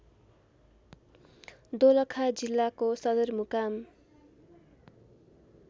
दोलखा जिल्लाको सदरमुकाम